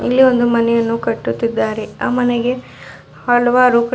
ಇಲ್ಲಿ ಒಂದು ಮನೆಯನ್ನು ಕಟ್ಟುತ್ತಿದ್ದಾರೆ ಆ ಮನೆಗೆ ಹಲವಾರು--